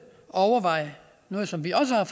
overveje noget som vi også har